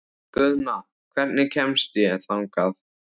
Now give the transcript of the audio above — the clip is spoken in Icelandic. Guðna, hvernig kemst ég þangað?